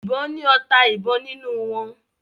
ìbọn ni ọta ìbọn nínú wón